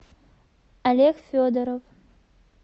олег федоров